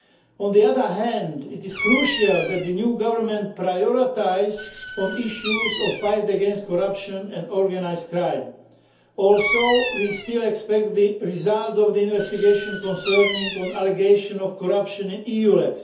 On the other hand, it is crucial that the new government prioritises the issues of the fight against corruption and organised crime. Also we still await the results of the investigation concerning the allegation of corruption in EULEX.